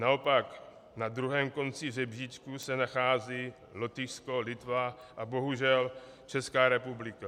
Naopak na druhém konci žebříčku se nachází Lotyšsko, Litva a bohužel Česká republika.